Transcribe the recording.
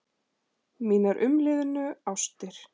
Mínar umliðnu ástir.